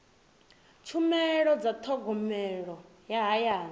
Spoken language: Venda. tshumelo dza thogomelo ya hayani